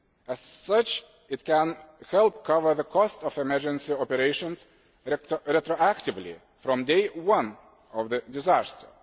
As such, it can help cover the cost of emergency operations retroactively from day one of the disaster.